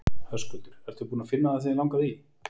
Höskuldur: Og ertu búinn að finna það sem þig langaði í?